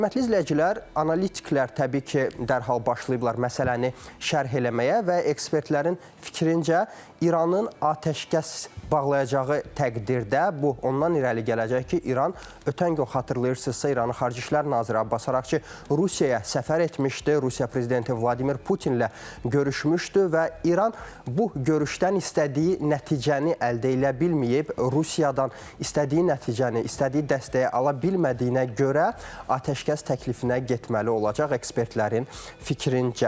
Hörmətli izləyicilər, analitiklər təbii ki, dərhal başlayıblar məsələni şərh eləməyə və ekspertlərin fikrincə İranın atəşkəs bağlayacağı təqdirdə, bu ondan irəli gələcək ki, İran ötən gün xatırlayırsınızsa İranın Xarici İşlər naziri Abbas Araqçı Rusiyaya səfər etmişdi, Rusiya prezidenti Vladimir Putinlə görüşmüşdü və İran bu görüşdən istədiyi nəticəni əldə eləyə bilməyib, Rusiyadan istədiyi nəticəni, istədiyi dəstəyi ala bilmədiyinə görə atəşkəs təklifinə getməli olacaq ekspertlərin fikrincə.